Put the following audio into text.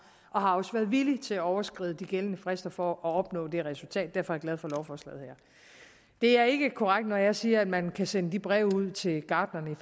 og også har været villig til at overskride de gældende frister for at opnå det resultat derfor er jeg glad for lovforslaget her det er ikke korrekt at jeg siger at man kan sende de breve ud til gartnerne